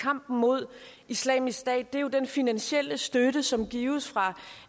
kampen mod islamisk stat er jo den finansielle støtte som gives fra